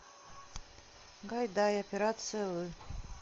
гайдай операция ы